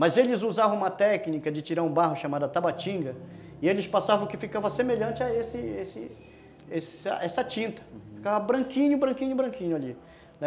Mas eles usavam uma técnica de tirar o barro, chamada tabatinga, e eles passavam que ficava semelhante a esse esse esse essa tinta, uhum, ficava branquinho, branquinho, branquinho ali, né.